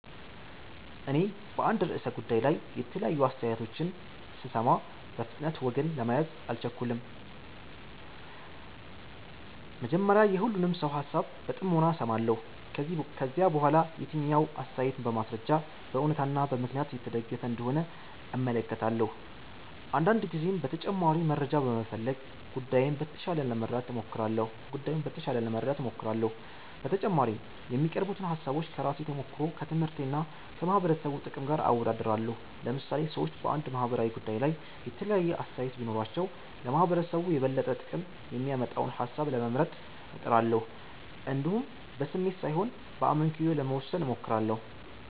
እኔ በአንድ ርዕሰ ጉዳይ ላይ የተለያዩ አስተያየቶችን ስሰማ፣ በፍጥነት ወገን ለመያዝ አልቸኩልም። መጀመሪያ የሁሉንም ሰው ሃሳብ በጥሞና እሰማለሁ። ከዚያ በኋላ የትኛው አስተያየት በማስረጃ፣ በእውነታ እና በምክንያት የተደገፈ እንደሆነ እመለከታለሁ። አንዳንድ ጊዜም ተጨማሪ መረጃ በመፈለግ ጉዳዩን በተሻለ ለመረዳት እሞክራለሁ። በተጨማሪም የሚቀርቡትን ሃሳቦች ከራሴ ተሞክሮ፣ ከትምህርቴ እና ከማህበረሰቡ ጥቅም ጋር አወዳድራለሁ። ለምሳሌ ሰዎች በአንድ ማህበራዊ ጉዳይ ላይ የተለያየ አስተያየት ቢኖራቸው፣ ለማህበረሰቡ የበለጠ ጥቅም የሚያመጣውን ሃሳብ ለመምረጥ እጥራለሁ። እንዲሁም በስሜት ሳይሆን በአመክንዮ ለመወሰን እሞክራለሁ።